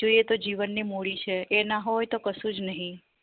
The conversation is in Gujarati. જોઈએ તો જીવન ની મુળી છે એના હોય તો કશુજ નહિ